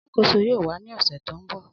Alakoso yoo wa ni ọsẹ to nbọ